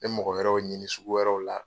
N bɛ mɔgɔ wɛrɛw ɲini sugu wɛrɛw la.